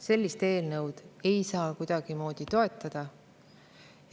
Sellist eelnõu ei saa kuidagimoodi toetada.